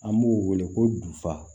An b'o wele ko duba